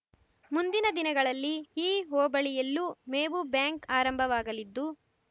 ಮುಂದಿನ ದಿನಗಳಲ್ಲಿ ಈ ಹೋಬಳಿಯಲ್ಲೂ ಮೇವು ಬ್ಯಾಂಕ್ ಆರಂಭವಾಗಲಿದ್ದು